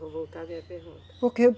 Vou voltar a minha pergunta. Porque